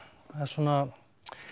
var svona